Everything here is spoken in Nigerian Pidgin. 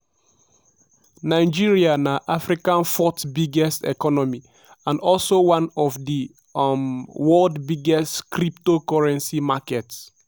nigeria na africa fourth biggest economyand also one of di um world biggest cryptocurrency markets.